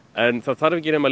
en það þarf ekki nema